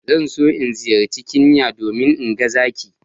Zan so in ziyarci Kenya domin in ga zaki